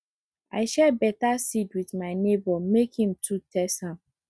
i share better seed with my neighbor make him too test am